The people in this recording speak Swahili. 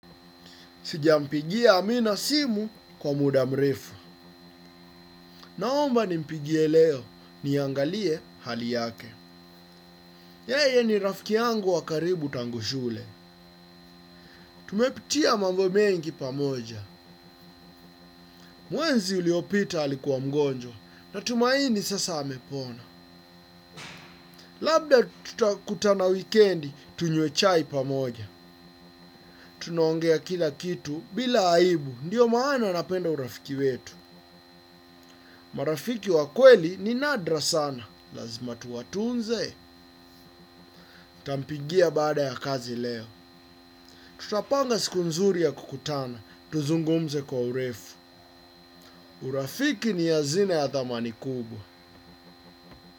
Sijampigia Amina simu, kwa muda mrefu. Naomba ni mpigie leo. Niangalie, hali yake. Yeye ni rafiki yangu wakaribu tangu shule. Tumepitia mambo mengi pamoja. Mwenzi uliopita alikuwa mgonjwa. Na tumaini sasa amepona. Labda tuta kutana wikendi tunywe chai pamoja. Tunaongea kila kitu, bila aibu. Ndio maana napenda urafiki wetu. Marafiki wakweli, ni nadra sana. Lazima tuwatunze. Tampigia baada ya kazi leo. Tutapanga siku nzuri ya kukutana. Tuzungumze kwa urefu. Urafiki ni yazina ya thamani kubwa.